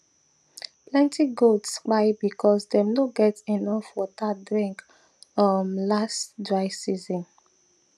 plenty goats kpai because dem no get enough water drink um last dry season